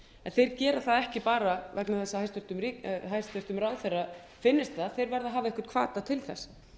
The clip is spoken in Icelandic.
þeir gera það ekki vegna þess að hæstvirtur ráðherra finnist það þeir verða að hafa einhvern hvata til þess